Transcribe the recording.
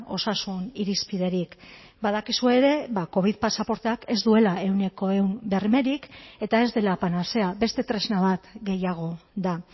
osasun irizpiderik badakizue ere covid pasaporteak ez duela ehuneko ehun bermerik eta ez dela panazea beste tresna bat gehiago da